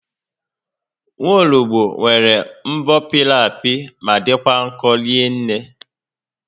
Nwologbo nwere mbọ pịrị apị ma dịkwa nkọ rinne